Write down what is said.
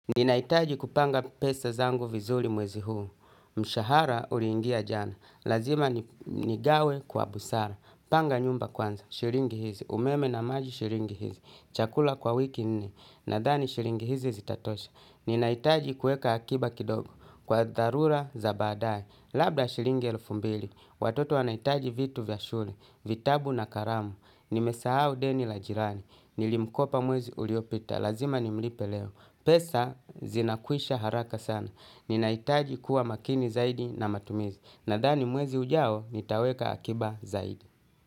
Ninaitaji kupanga pesa zangu vizuri mwezi huu. Mshahara uriingia jana. Lazima nigawe kwa busara. Panga nyumba kwanza. Shiringi hizi. Umeme na maji shiringi hizi. Chakula kwa wiki nne. Nadhani shiringi hizi zitatosha. Ninaitaji kueka akiba kidogo. Kwa dharura za baadae. Labda shiringi elfu mbili. Watoto wanaitaji vitu vya shule. Vitabu na karamu. Nimesahau deni la jirani. Nilimkopa mwezi uliopita. Lazima nimlipe leo. Pesa zinakwisha haraka sana. Ninaitaji kuwa makini zaidi na matumizi. Nadhani mwezi ujao nitaweka akiba zaidi.